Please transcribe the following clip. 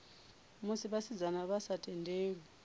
musi vhasidzana vha sa tendelwi